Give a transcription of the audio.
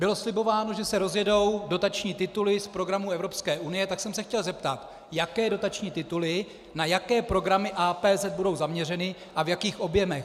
Bylo slibováno, že se rozjedou dotační tituly z programu Evropské unie, tak jsem se chtěl zeptat, jaké dotační tituly na jaké programy APZ budou zaměřeny a v jakých objemech.